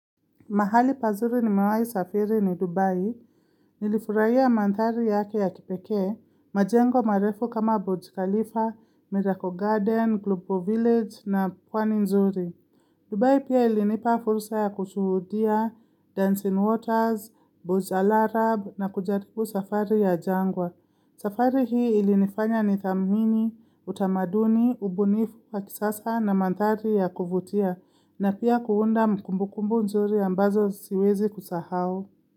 Mahali pazuri nimewahi safiri ni Dubai. Nilifurahia madhari yake ya kipekee, majengo marefu kama Burj Khalifa, Miracle Garden, Glubo Village na pwani nzuri. Dubai pia ilinipa fursa ya kushuhudia Dancing Waters, Boots al Arab na kujaribu safari ya jangwa. Safari hii ilinifanya nithamini, utamaduni, ubunifu wa kisasa na mandhari ya kuvutia na pia kuunda kumbukumbu nzuri ambazo siwezi kusahau.